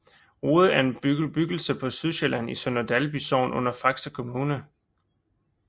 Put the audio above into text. Rode er en bebyggelse på Sydsjælland i Sønder Dalby Sogn under Faxe Kommune